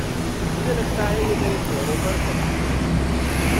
मुझे लगता है कि ये मेरे चेहरे पर फबती है।